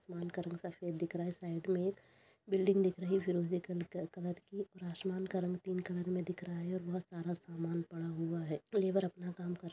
आसमान का रंग सफ़ेद दिख रहा है। साइड में बिल्डिंग दिख रही है फिरोज़ी कलर की और आसमान पिंक कलर में दिख रहा है और बहोत सारा सामान पड़ा हुआ है। लेबर अपना काम कर --